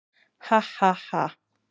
Ha ha ha.